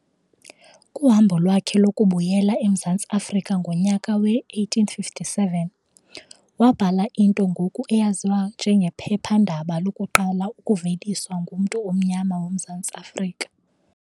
Kuhambo lwakhe lokubuyela eMzantsi Afrika ngonyaka we-1857, wabhala into ngoku eyaziwa njengephephandaba lokuqala ukuveliswa ngumntu omnyama woMzantsi Afrika.